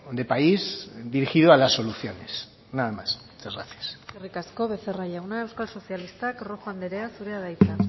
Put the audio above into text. de país dirigido a las soluciones nada más muchas gracias eskerrik asko becerra jauna euskal sozialistak rojo andrea zurea da hitza